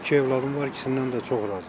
İki övladım var, ikisindən də çox razıyam.